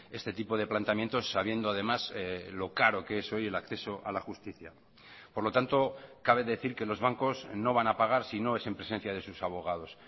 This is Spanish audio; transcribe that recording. este tipo de planteamientos sabiendo además lo caro que es hoy el acceso a la justicia por lo tanto cabe decir que los bancos no van a pagar si no es en presencia de sus abogados